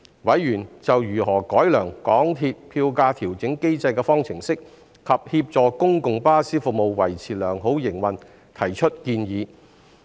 委員就如何改良港鐵票價調整機制的方程式，以及協助公共巴士服務維持良好營運提出建議。